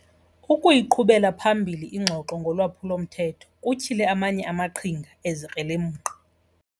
Ukuyiqhubela phambili ingxoxo ngolwaphulo-mthetho kutyhile amanye amaqhinga ezikrelemnqa.